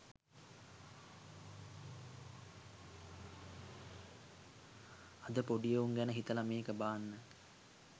අද පොඩි එවුන් ගැන හිතලා මේක බාන්න.